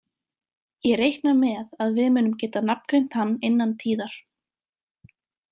Ég reikna með að við munum geta nafngreint hann innan tíðar.